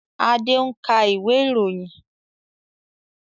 Adé ń ka ìwé ìròyìn